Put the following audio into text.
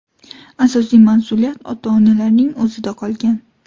Asosiy mas’uliyat ota-onalarning o‘zida qolgan.